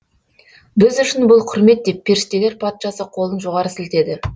біз үшін бұл құрмет деп періштелер патшасы қолын жоғары сілтеді